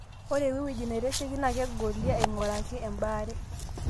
ore wewueji neitasheki naa kegolie ainguraki ebaare